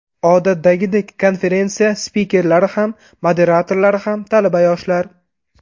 Odatdagidek, konferensiya spikerlari ham, moderatorlari ham – talaba yoshlar.